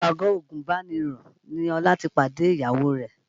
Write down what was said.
Ìpàgọ́ àgùnbánirọ̀ ni Ọlá ti pàdé ìyàwó rẹ̀